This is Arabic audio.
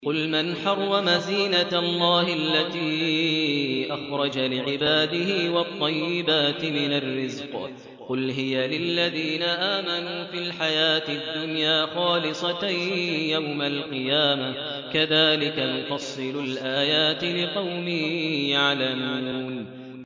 قُلْ مَنْ حَرَّمَ زِينَةَ اللَّهِ الَّتِي أَخْرَجَ لِعِبَادِهِ وَالطَّيِّبَاتِ مِنَ الرِّزْقِ ۚ قُلْ هِيَ لِلَّذِينَ آمَنُوا فِي الْحَيَاةِ الدُّنْيَا خَالِصَةً يَوْمَ الْقِيَامَةِ ۗ كَذَٰلِكَ نُفَصِّلُ الْآيَاتِ لِقَوْمٍ يَعْلَمُونَ